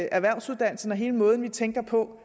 erhvervsuddannelsen og hele måden vi tænker på